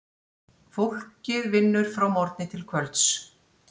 Fólkið vinnur frá morgni til kvölds.